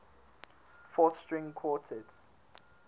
fourth string quartets